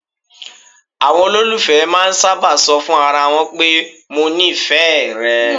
Àwọn olólùfẹ́ máà ń sábà ṣọ fún ara wọn pé "mo nífẹ̀ẹ́ rẹ".